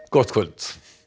gott kvöld